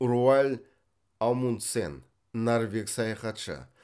руаль амундсен норвег саяхатшы